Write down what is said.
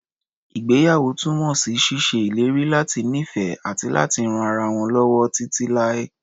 Ìgbéyàwó túnmọ̀ sí ṣíṣe ìlérí láti nífẹ̀ẹ́, àti láti ran ara wọn lọ́wọ́ títí láé.